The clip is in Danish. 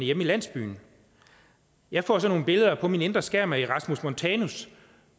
hjemme i landsbyen jeg får sådan nogle billeder på min indre skærm af erasmus montanus